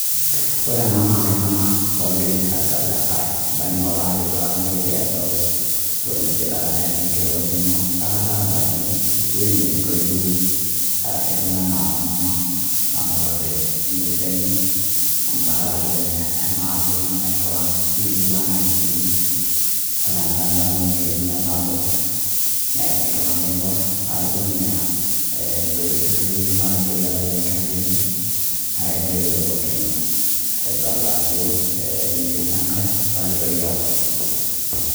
ore ene naa iltunganak oorgira aihaaga ketu enaa iltunganak lemebayioro, kenyaanyukie ena entoiwuoi wenkerai enye nanotete naa ketu enaa kelakua ebayioro